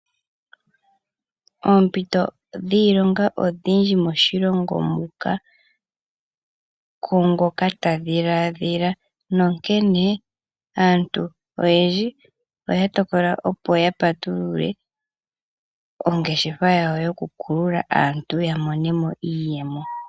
Oompito dhiilonga odhindji moshilongo muka kungoka ta dhiladhila, nonkene aantu oyendji oya tokola opo ya patulule ongeshefa yawo yokukulula aantu yamone moiiyemo.